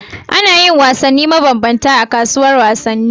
Anayin wasanni maban banta a kasuwar wasan ni